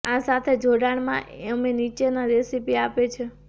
આ સાથે જોડાણ માં અમે નીચેના રેસીપી આપે છે